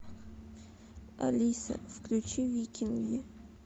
алиса включи викинги